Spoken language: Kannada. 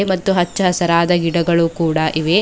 ಮತ್ತು ಹಚ್ಚಹಸಿರಾದ ಗಿಡಗಳು ಕೂಡ ಇವೆ.